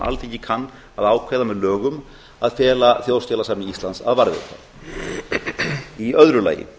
alþingi kann að ákveða með lögum að fela þjóðskjalasafni íslands að varðveita annað frumvarpið er